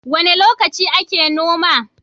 Wane lokaci ake noma?